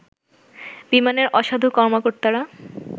বিমানের অসাধু কর্মকর্তারা